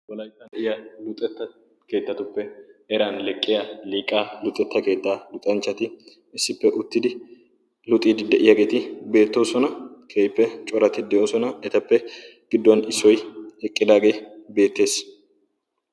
wolaittan de7iya luxetta keettatuppe eran leqqiya liiqaa luuxetta keettaa luxanchchati issippe uttidi luuxiidi de7iyaageeti beettoosona keippe corati de7oosona etappe gidduwan issoi eqqidaagee beettees